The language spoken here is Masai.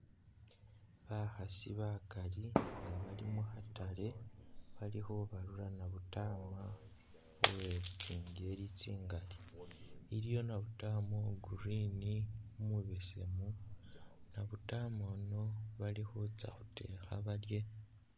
Bakhaasi bakali nga bali mu khatale, bali khubalula nabutama uwe tsingeli tsingali. Iliwo nabutama wa green, umubesemu, nabutama uyu bali khutsa khuteekha balye.